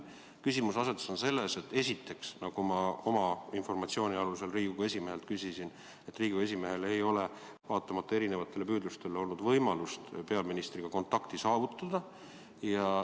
Küsimuseasetus on selles, esiteks, nagu ma oma informatsiooni alusel tean, et Riigikogu esimehel ei ole vaatamata erinevatele püüdlustele olnud võimalust peaministriga kontakti saavutada.